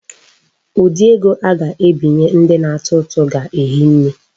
Ụdị ego a ga-ebinye ndị na-atụ ụtụ ga-ehi nne.